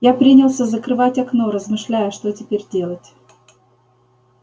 я принялся закрывать окно размышляя что теперь делать